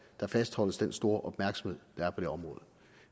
der fastholdes den store opmærksomhed der er på det område